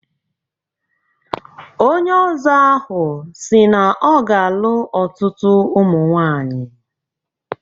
Onye Ọzọ ahụ si na ọ ga-alụ ọtutu ụmụ nwaanyi.